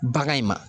Bagan in ma